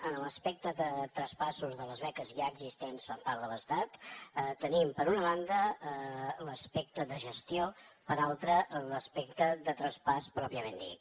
en l’aspecte de traspassos de les beques ja existents per part de l’estat tenim per una banda l’aspecte de gestió per l’altra l’aspecte de traspàs pròpiament dit